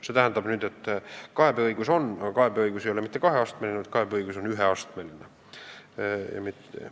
See tähendab seda, et kaebeõigus on, aga see ei ole mitte kaheastmeline, vaid üheastmeline.